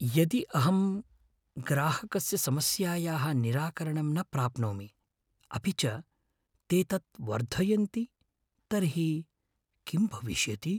यदि अहं ग्राहकस्य समस्यायाः निराकरणं न प्राप्नोमि अपि च ते तत् वर्धयन्ति तर्हि किम् भविष्यति?